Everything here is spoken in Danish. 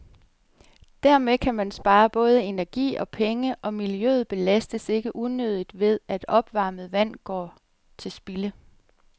Dermed kan man spare både energi og penge, og miljøet belastes ikke unødigt ved, at opvarmet vand blot går til spilde.